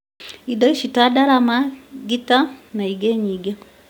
indo ici nĩ ta ndarama, ngitaa na ingĩ nyingĩ